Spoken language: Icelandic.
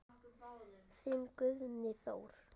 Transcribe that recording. Þinn Guðni Þór.